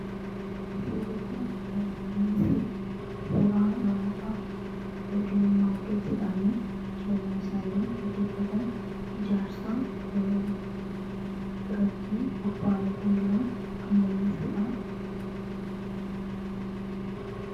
surikun kan inni mul'isu suraa namoota hodii humnaa hodjachuudhaanii jirinyaa isaanii geggeeffatan ijaarsaa irratti obba'anii kan jirun kan mul'isuudha